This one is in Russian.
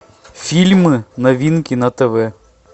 фильмы новинки на тв